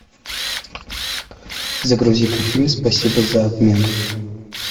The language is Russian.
загрузи ка фильм спасибо за обмен